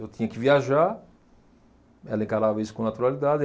Eu tinha que viajar, ela encarava isso com naturalidade.